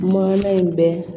Maana in bɛ